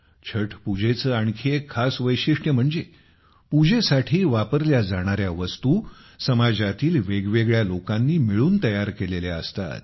छठ पूजेचे आणखी एक खास वैशिष्ट्य म्हणजे पूजेसाठी वापरल्या जाणार्या वस्तू समाजातील वेगवेगळ्या लोकांनी मिळून तयार केलेल्या असतात